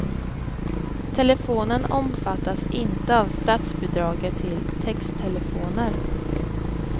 Telefonen omfattas inte av statsbidraget till texttelefoner.